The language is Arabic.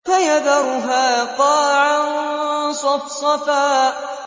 فَيَذَرُهَا قَاعًا صَفْصَفًا